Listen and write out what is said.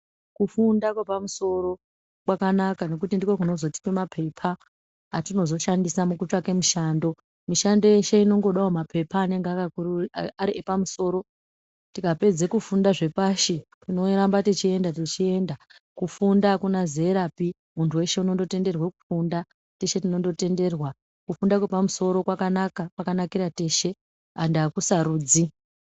Kufunda kwepamusoro kwakanaka nokuti ndiko kunozotipa mapepa atinozoshandisa mukutsvake mushando. Mushando yeshe inongodawo mapepa anenge ari epamosoro tikapedze kufunda zvepashi tinoramba tichienda tichienda kufunda akuna zerapi muntu weshe unondotenderwa kufunda teshe tinondotenderwa kufunda kwepamosoro kwakanaka kwakanakira teshe ende akusarudzi.